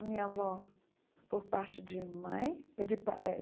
A minha avó, por parte de mãe, é de pai eh,